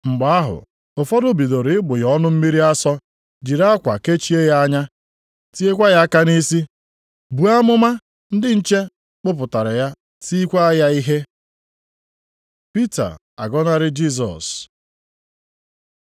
Mgbe ahụ ụfọdụ bidoro ịgbụ ya ọnụ mmiri asọ, jiri akwa kechie ya anya, tiekwa ya aka na-asị, “Buo amụma!” Ndị nche kpụpụtara ya tiekwa ya ihe. Pita agọnarị Jisọs